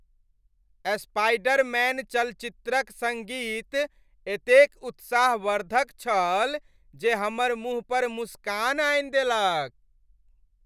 Spiderman चलचित्रक सङ्गीत एतेक उत्साहवर्धक छल जे हमर मुँह पर मुस्कान आनि देलक।